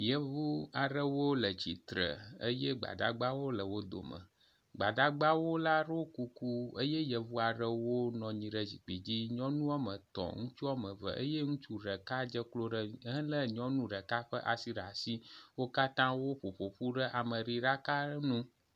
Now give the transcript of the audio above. Yevuu aɖewo le tsitre eye gbadagbawo le wo dome. Gbadagba wo la ɖo kuku eye yevu aɖewo nɔ anyi ɖe zikpui dzi. Nyɔnu wɔme etɔ ŋutsu wɔme eve eye ŋutsu ɖeka dze klo ɖe ehele nyɔnu ɖeka ƒe asi ɖe asi. Wo katã woƒoƒoƒu ɖe ameɖiɖaka ŋu.